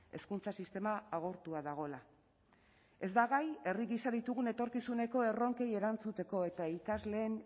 hezkuntza sistema agortua dagoela ez da gai herri gisa ditugun etorkizuneko erronkei erantzuteko eta ikasleen